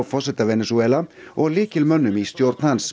forseta Venesúela og lykilmönnum í stjórn hans